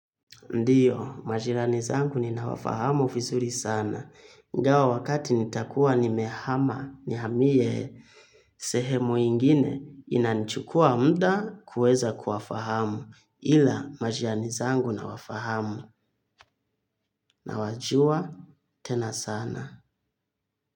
Ndiyo, majirani zangu ninawafahamu vizuri sana. Ingawa wakati nitakuwa nimehama nihamie sehemu ingine inanichukua muda kuweza kuwafahamu ila majirani zangu nawafahamu nawajua tena sana.